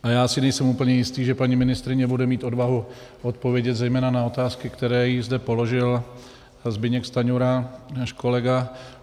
A já si nejsem úplně jistý, že paní ministryně bude mít odvahu odpovědět zejména na otázky, které jí zde položil Zbyněk Stanjura, náš kolega.